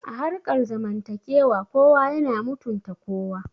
A harkar zamantakewa kowa yana mutunta kowa